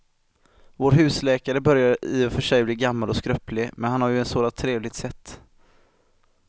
Vår husläkare börjar i och för sig bli gammal och skröplig, men han har ju ett sådant trevligt sätt!